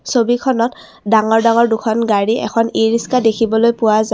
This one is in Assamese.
ছবিখনত ডাঙৰ ডাঙৰ দুখন গাড়ী এখন ই ৰিক্সা দেখিবলৈ পোৱা যায়।